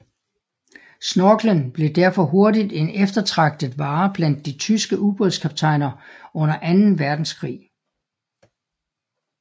Snorkelen blev derfor hurtigt en eftertragtet vare blandt de tyske ubådkaptajner under anden verdenskrig